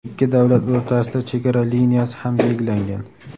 ikki davlat o‘rtasida chegara liniyasi ham belgilangan.